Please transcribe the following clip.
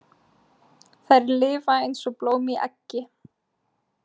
Þær lifa eins og blóm í eggi.